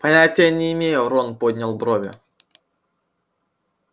понятия не имею рон поднял брови